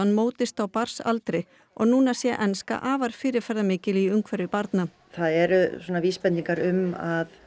mótast á barnsaldri og núna sé enska afar fyrirferðamikil í umhverfi barna það eru svona vísbendingar um að